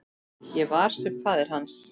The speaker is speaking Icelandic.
Ég sem var faðir hans.